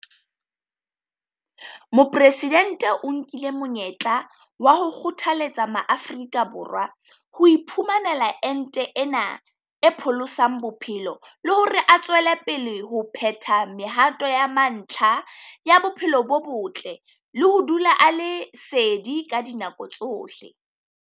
Mopresidente o nkile monyetla wa ho kgothaletsa Maafrika Borwa ho iphumanela ente ena e pholosang bophelo le hore a tswele pele ho phetha mehato ya mantlha ya bophelo bo botle le ho dula a le sedi ka dinako tsohle.